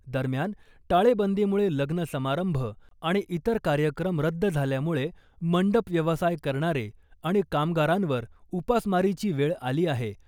दरम्यान , टाळेबंदीमुळे लग्न समारंभ , आणि इतर कार्यक्रम रद्द झाल्यामुळे मंडप व्यवसाय करणारे आणि कामगारांवर उपासमारीची वेळ आली आहे .